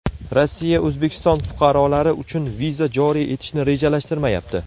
Rossiya O‘zbekiston fuqarolari uchun viza joriy etishni rejalashtirmayapti.